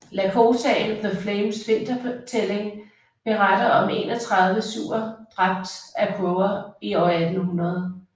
Lakotaen The Flames vintertælling beretter om enogtredive siouxer dræbt af crower i år 1800